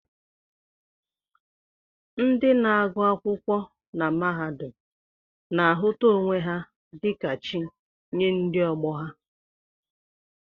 Ndị na-agụ akwụkwọ na mahadum na-ahụta onwe ha dịka chi nye ndị ọgbọ ha